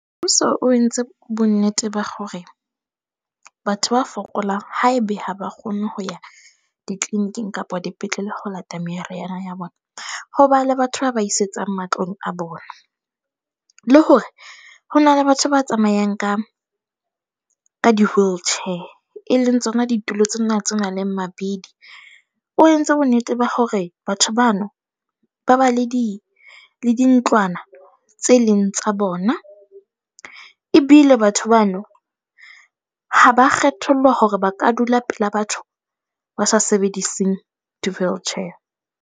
So, o entse bonnete ba hore batho ba fokolang haebe ha ba kgone ho ya di-clinic-ing kapa dipetlele ho lata meriana ya bona. Ho ba le batho ba ba isetsang matlong a bona. Le hore ho na le batho ba tsamayang ka ka di-wheelchair e leng tsona ditulo tsena tse na leng mabidi. O entse bonnete ba hore batho bano ba ba le di, le dintlwana tse leng tsa bona. Ebile batho bano ha ba kgethollwa hore ba ka dula pela batho ba sa sebediseng di-wheelchair.